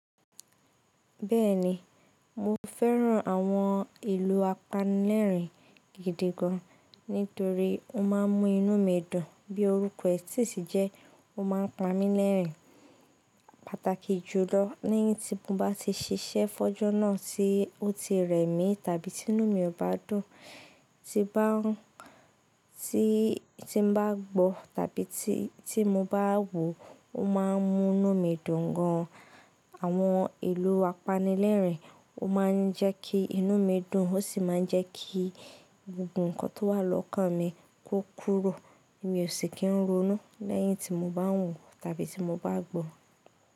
Bẹ́ẹ̀ni, mo fẹ́ran àwọn ìlù apanilẹ́rin gidi gan, nítorí ó máà ń mú inú mi dùn. Bí orúkọ rẹ̀ tí sì jẹ́, ó máà ń pa mí lẹ́rin. Pátákì jùlọ, lẹ́yìn tí mo bá ti ṣiṣẹ́ fọ́jọ́ náà tí ó ti rẹ̀ mí, tàbí tí inú mi ò bá dùn, tí bá ń tí, tí n bá gbọ́ tàbí tí, tí mo bá wò, ó máà ń mú inú mi dùn gan. Àwọn ìlù apanilẹ́rin, ó máà ń jẹ́ kí inú mi dùn ó sì máa ń jẹ́ kí gbogbo ǹkan tó wà lọ́kàn mi kó kúrò. Mi ò sì kí ń ronú lẹ́yìn tí mo bá wò tàbí tí mo bá gbọ́.